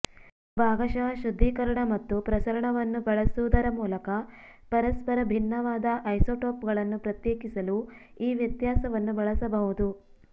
ಭಾಗಶಃ ಶುದ್ಧೀಕರಣ ಮತ್ತು ಪ್ರಸರಣವನ್ನು ಬಳಸುವುದರ ಮೂಲಕ ಪರಸ್ಪರ ಭಿನ್ನವಾದ ಐಸೋಟೋಪ್ಗಳನ್ನು ಪ್ರತ್ಯೇಕಿಸಲು ಈ ವ್ಯತ್ಯಾಸವನ್ನು ಬಳಸಬಹುದು